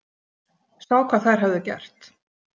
Sá hvað þær höfðu gert.